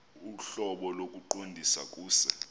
ohlobo lokuqondisa kuse